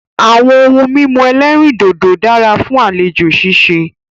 Àwọn ohun mímu ẹ̀lẹ́rìndodò dára fún àlejò ṣíṣe.